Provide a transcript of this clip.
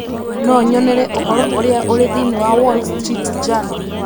no nyonere ũhoro ũrĩa ũrĩ thĩinĩ wa Wall Street Journal.